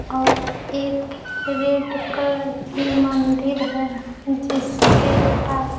और एक red colour की मंदिर है जिसके पास--